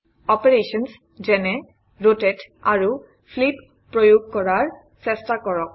operations such as rotate আৰু flip প্ৰয়োগ কৰাৰ চেষ্টা কৰক